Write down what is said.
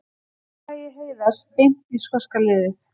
Félagi Heiðars beint í skoska liðið